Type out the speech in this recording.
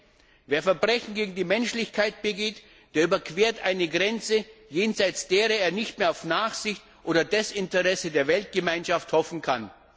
Denn wer Verbrechen gegen die Menschlichkeit begeht, der überquert eine Grenze jenseits derer er nicht mehr auf Nachsicht oder Desinteresse der Weltgemeinschaft hoffen kann.